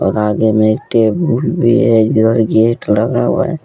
और आगे में एक टेबल भी है जिधर गेट लगा हुआ है।